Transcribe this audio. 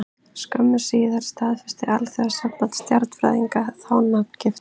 Skömmu síðar staðfesti Alþjóðasamband stjarnfræðinga þá nafngift.